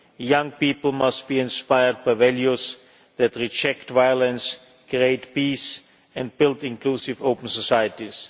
Young people must be inspired by values that reject violence, create peace and build inclusive, open societies.